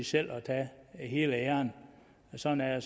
selv at tage hele æren sådan er